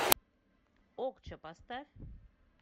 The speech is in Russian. окча поставь